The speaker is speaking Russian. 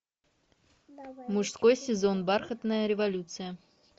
мужской сезон бархатная революция